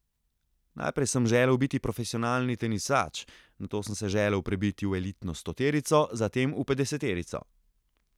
Najprej sem želel biti profesionalni tenisač, nato sem se želel prebiti v elitno stoterico, zatem v petdeseterico.